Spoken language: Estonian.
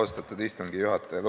Austatud istungi juhataja!